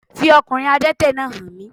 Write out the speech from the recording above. Fi okùnrin Adẹ́tẹ̀ náà hàn mí